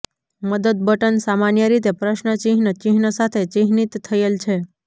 મદદ બટન સામાન્ય રીતે પ્રશ્ન ચિહ્ન ચિહ્ન સાથે ચિહ્નિત થયેલ છે